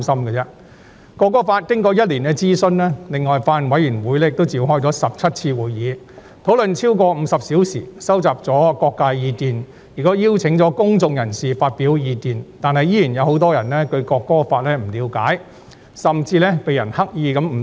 《條例草案》經過1年諮詢，另外法案委員會亦召開了17次會議，討論了超過50小時，收集了各界的意見，亦邀請了公眾人士發表意見，但依然有很多人對《條例草案》不了解，甚至有人刻意誤導。